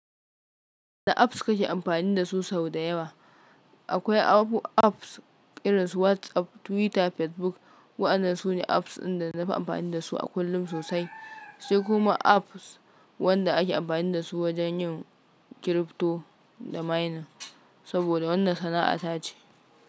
Wanne apps kake amfani dasu sau da yawa? Akwai abu apps irin su WhatsApp, Twitter, Facebook. Waɗannan su ne apps inda na fi amfani dasu a kullum sosai. Sai kuma apps waɗanda ake amfani da su wajen yin crypto da mining. Saboda wannan sana'a ta ce.